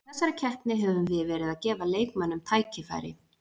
Í þessari keppni höfum við verið að gefa leikmönnum tækifæri.